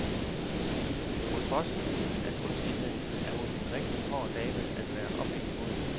På trods af kunstigheden er hun en rigtig hård dame at være oppe imod.